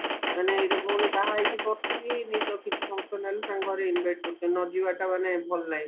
ମାନେ ଏଇ ଯୋଉ ଭଉଣୀ ବାହା ହେଇଚି ବର୍ଷେ ବି ହେଇନି ତ କିଛି function ହେଲେ ତାଙ୍କ ଘରେ invite କରୁଚନ୍ତି ନଯିବାଟା ମାନେ ଭଲ ନାହିଁ